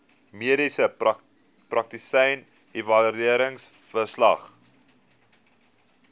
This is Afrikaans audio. mediese praktisyn evalueringsverslag